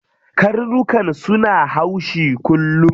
Karnukan suna haushi kullum.